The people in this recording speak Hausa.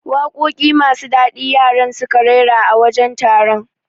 Waƙoƴi masu dadi yaran suka raira a wajen taron